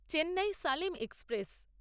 Chennai Salem express